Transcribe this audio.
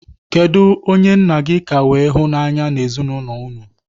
Kedụ onye nna gị ka wee hụ n'anya n'ezinaụlọ unu?